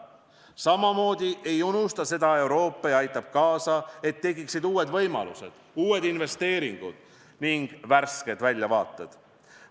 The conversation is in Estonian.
Samamoodi ei unusta seda Euroopa ja aitab kaasa, et tekiksid uued võimalused, uued investeeringud ning värsked väljavaated.